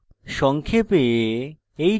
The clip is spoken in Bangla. সংক্ষেপে